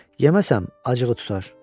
Yeməsəm, acığı tutar.